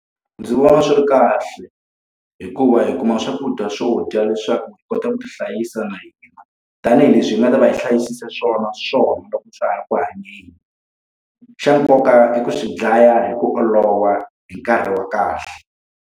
Ndzi vona swi ri kahle, hikuva hi kuma swakudya swo dya leswaku hi kota ku ti hlayisa na hina. Tanihi leswi hi nga ta va hi hlayisisa swona swona loko swa ha ri ku hanyeni. Xa nkoka i ku swi dlaya hi ku olova hi nkarhi wa kahle.